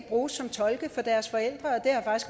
bruges som tolke for deres forældre